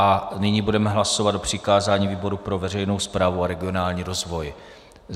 A nyní budeme hlasovat o přikázání výboru pro veřejnou správu a regionální rozvoj.